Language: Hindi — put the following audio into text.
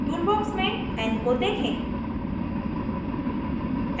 टूलबॉक्स में n को देखें